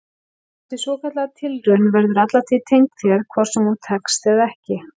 Þessi svokallaða tilraun verður alla tíð tengd þér hvort sem hún tekst eða ekki.